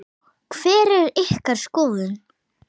Hver er ykkar skoðun?